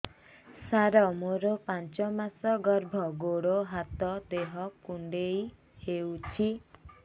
ସାର ମୋର ପାଞ୍ଚ ମାସ ଗର୍ଭ ଗୋଡ ହାତ ଦେହ କୁଣ୍ଡେଇ ହେଉଛି